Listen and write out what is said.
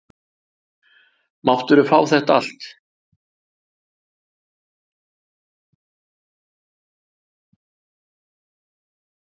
Máttirðu fá þetta allt?